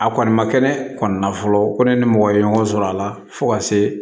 A kɔni ma kɛnɛ kɔni na fɔlɔ ko ne ni mɔgɔ ye ɲɔgɔn sɔrɔ a la fo ka se